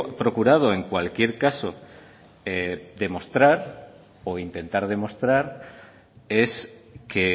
procurado en cualquier caso demostrar o intentar demostrar es que